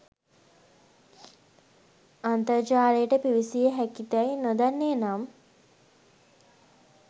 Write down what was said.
අන්තර්ජාලයට පිවිසිය හැකිදැයි නොදන්නේනම්